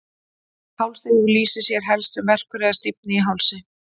hálsrígur lýsir sér helst sem verkur eða stífni í hálsi